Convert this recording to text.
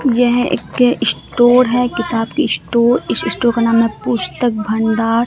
यह एक स्टोर है किताब की स्टोर इस स्टोर का नाम में पुस्तक भंडार।